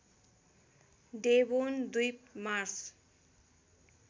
Devon द्वीप Mars